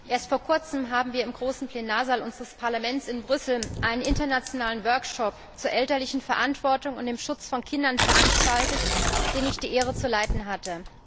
Erst vor kurzem haben wir im großen Plenarsaal unseres Parlaments in Brüssel einen internationalen Workshop zur elterlichen Verantwortung und zum Schutz von Kindern veranstaltet, den zu leiten ich die Ehre hatte.